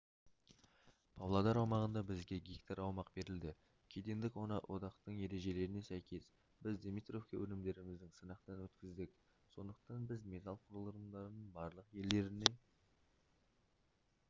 павлодар аумағында бізге гектар аумақ берілді кедендік одақтың ережелеріне сәйкес біз димитровте өнімдерімізді сынақтан өткіздік сондықтан біз металл құрылымдарын барлық елдеріне